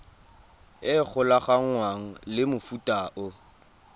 e golaganngwang le mofuta o